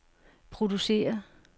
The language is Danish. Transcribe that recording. producere